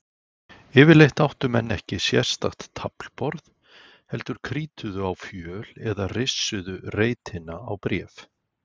Yfirleitt áttu menn ekki sérstakt taflborð heldur krítuðu á fjöl eða rissuðu reitina á bréf.